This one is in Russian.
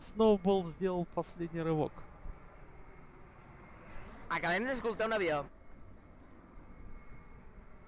сноуболл сделал последний рывок